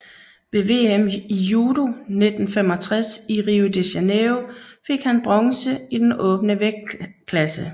Ved VM i judo 1965 i Rio de Janeiro fik han bronze i den åbne vægtklasse